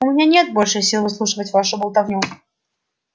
у меня нет больше сил выслушивать вашу болтовню